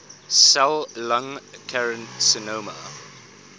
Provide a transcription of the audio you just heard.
cell lung carcinoma